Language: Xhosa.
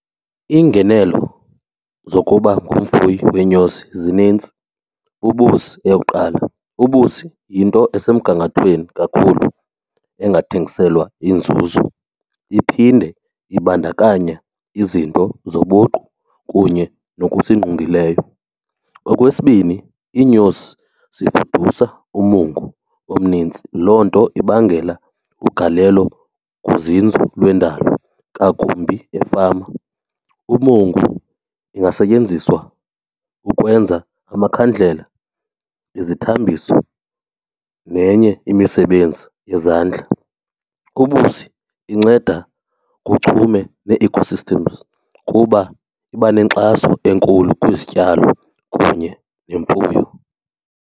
Iingenelo zokuba ngumfuyi weenyosi zinintsi, ubusi eyokuqala. Ubusi yinto esemgangathweni kakhulu engathengiselwa inzuzo iphinde ibandakanya izinto zobuqu kunye nokusingqongileyo. Okwesibini iinyosi ziprodyusa umungu omninzi, loo nto ibangela igalelo kuzinzo lwendalo ngakumbi efama. Umungu ungasetyenziswa ukwenza amakhandlela, izithambiso nenye imisebenzi yezandla. Ubusi inceda kuchume nee-ecosystems kuba iba nenkxaso enkulu kwizityalo kunye nemfuyo.